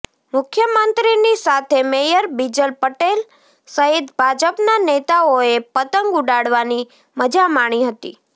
મુખ્યમંત્રીની સાથે મેયર બિજલ પટેલ સહિત ભાજપના નેતાઓએ પતંગ ઉડાડવાની મજા માણી હતી